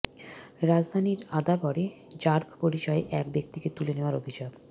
রাজধানীর আদাবরে র্যাব পরিচয়ে এক ব্যক্তিকে তুলে নেওয়ার অভিযোগ